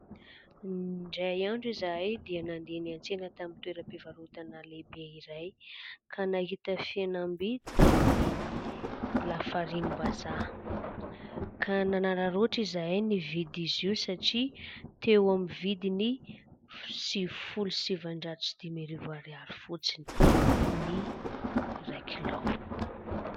Indray andro izahay dia nandeha niantsena tamin'ny toeram-pivarotana lehibe iray ka nahita fihenambidy tamin'ny lafarinim-bazaha ka nanararaoatra izahay nividy izy io satria teo amin'ny vidiny sivifolo sy sivinjato sy dimy arivo ariary fotsiny ny iray kilao.